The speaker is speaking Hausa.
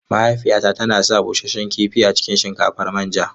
Mahaifiyata tana son busasshen kifi a cikin shinkafar manja.